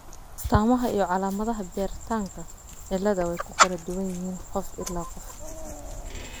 astamahaa iyo calaamadaha bertanka cilada way ku kala duwan yihiin qof ilaa qof.